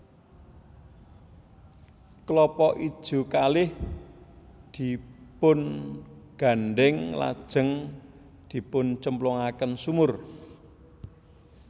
Klapa ijo kalih dipungandhèng lajeng dipuncemplungaken sumur